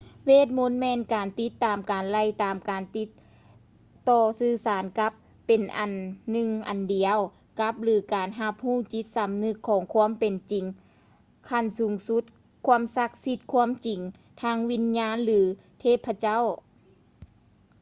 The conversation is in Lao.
ເວດມົນ ແມ່ນການຕິດຕາມການໄລ່ຕາມ ການຕິດຕໍ່ສື່ສານກັບ ເປັນອັນໜຶ່ງອັນດຽວກັບ ຫຼື ການຮັບຮູ້ຈິດສຳນຶກຂອງຄວາມເປັນຈິງຂັ້ນສູງສຸດ ຄວາມສັກສິດ ຄວາມຈິງທາງວິນຍານ ຫຼື ເທບພະເຈົ້າ